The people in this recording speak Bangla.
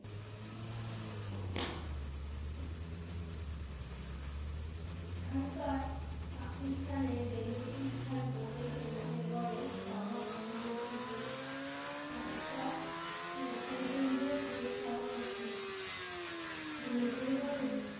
এখানকার পাকিস্থানের বেলুচীস্থান প্রদেশে মিহির গড়ের পামা পাথরের যুগে একটা কেন্দের খোঁজ পাওয়া গেছে মিহির গড়ে